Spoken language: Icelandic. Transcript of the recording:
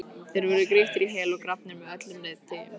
Þeir voru grýttir í hel og grafnir með öllum reiðtygjum.